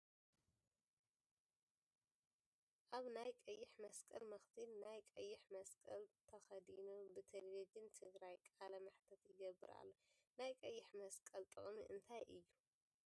ኣብ ናይ ቀይሕ መስቀል መክዚን ናይ ቀይሕ መስቀል ተከዲኑ ብ ተለቭዥን ትግራይ ቃለ መሕትት ይገብር ኣሎ ። ናይ ቀይሕ መስቀል ጥቅሚ እንታይ እዩ ?